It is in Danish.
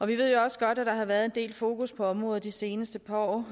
vi ved også godt at der har været en del fokus på området de seneste par år